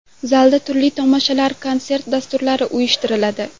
Zalda turli tomoshalar, konsert dasturlari uyushtiriladi.